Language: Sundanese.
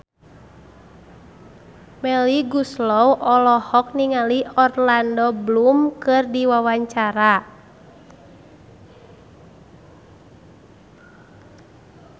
Melly Goeslaw olohok ningali Orlando Bloom keur diwawancara